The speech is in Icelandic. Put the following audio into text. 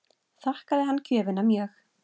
Þakkaði hann gjöfina mjög.